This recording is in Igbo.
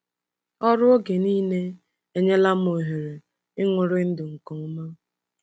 “Ọrụ oge niile enyela m ohere ịṅụrị ndụ nke ọma.